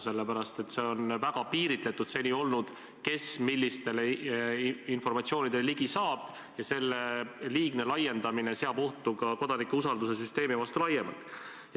Seni on olnud väga piiritletud, kes millisele informatsioonile ligi saab, ja selle liigne laiendamine seab ohtu ka kodanike usalduse süsteemi laiemalt.